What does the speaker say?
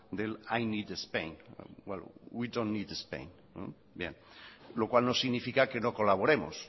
del primero need spain well we dont need spain lo cual no significa que no colaboremos